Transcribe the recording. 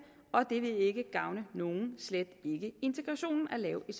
og det vil ikke gavne nogen slet ikke integrationen at lave et